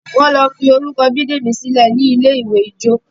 wón ló forukọ Bidemi sílè ní ní ilé-ìwé ìjọ